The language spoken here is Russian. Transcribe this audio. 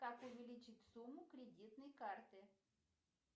как увеличить сумму кредитной карты